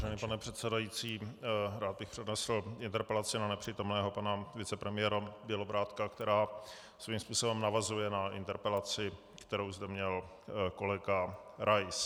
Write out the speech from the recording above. Vážený pane předsedající, rád bych přednesl interpelaci na nepřítomného pana vicepremiéra Bělobrádka, která svým způsobem navazuje na interpelaci, kterou zde měl kolega Rais.